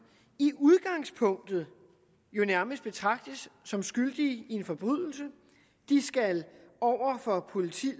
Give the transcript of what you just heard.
i udgangspunktet nærmest betragtes som skyldige i en forbrydelse de skal over for politiet